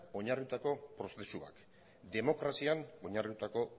oinarritutako prozesu bat demokrazian oinarritutako